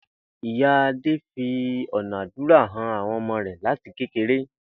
Ìyá Adé fi ò̩nà àdúrà han àwo̩n o̩mo̩ rè̩ láti kékeré